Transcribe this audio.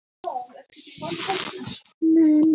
Ég hef lítið breyst.